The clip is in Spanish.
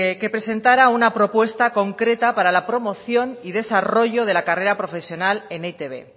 que presentara una propuesta concreta para la promoción y desarrollo de la carrera profesional en e i te be